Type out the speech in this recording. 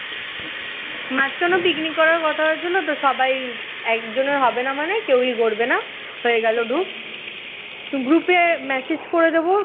মাঝখানে picnic করার কথা হয়েছিল তো সবাই একজনের হবে না মানে কেউই করবে না হয়ে গেল groupgroup এ message করে দেব